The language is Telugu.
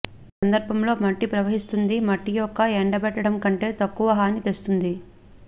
ఈ సందర్భంలో మట్టి ప్రవహిస్తుంది మట్టి యొక్క ఎండబెట్టడం కంటే తక్కువ హాని తెస్తుంది